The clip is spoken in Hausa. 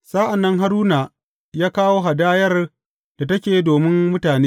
Sa’an nan Haruna ya kawo hadayar da take domin mutane.